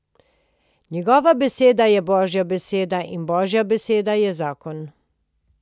Njegova beseda je božja beseda in božja beseda je zakon.